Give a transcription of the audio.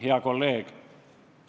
Hea kolleeg!